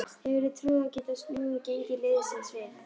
Hefurðu trú á að geta snúið gengi liðsins við?